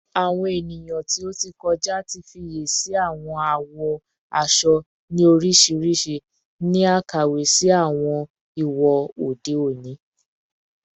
Awọn eniyan ti o ti kọja ti fiyesi awọn awọ aṣọ ni oriṣiriṣi ni akawe si awọn iwo ode oni